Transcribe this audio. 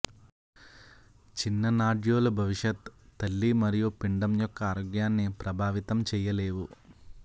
చిన్న నాడ్యూల్లు భవిష్యత్ తల్లి మరియు పిండం యొక్క ఆరోగ్యాన్ని ప్రభావితం చేయలేవు